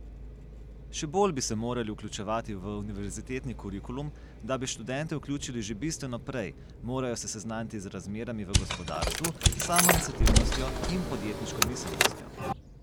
Še bolj bi se morali vključevati v univerzitetni kurikulum, da bi študente vključili že bistveno prej, morajo se seznaniti z razmerami v gospodarstvu, s samoiniciativnostjo in podjetniško miselnostjo.